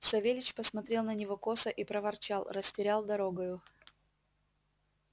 савельич посмотрел на него косо и проворчал растерял дорогою